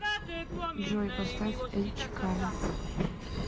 джой поставь эль чикано